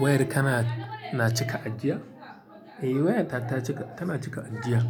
Wayar kana na cika ajiya? Eh, wayata ta cika tana cika ajiya.